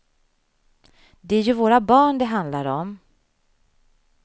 Det är ju våra barn det handlar om.